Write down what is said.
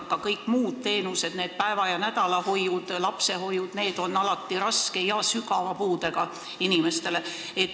Ka kõik muud teenused, need päeva- ja nädalahoiud ning lapsehoiud, on alati ette nähtud raske ja sügava puudega inimestele.